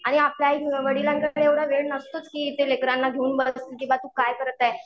आणि आपल्या आईवडिलांच्या कडे एवढा वेळ नसतोच की ते लेकरांना घेऊन बसतील, किंवा तू काय करत आहे